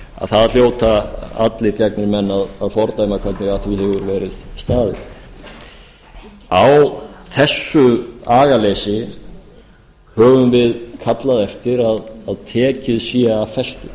það hljóta allir gegnir menn að fordæma hvernig að því hefur verið staðið á þessu agaleysi höfum við kallað eftir að tekið sé af